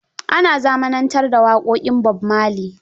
Ana zamanantar da waƙoƙin Bob Marlery